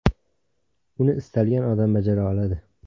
Uni istalgan odam bajara oladi.